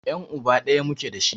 Yan' uba ɗaya muke dashi.